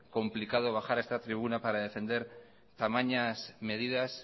complicado bajar a esta tribuna para defender tamañas medidas